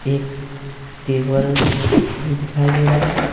एक टेबल भी दिखाई दे रहा है।